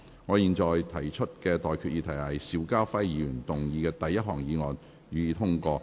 我現在向各位提出的待決議題是：邵家輝議員動議的第一項議案，予以通過。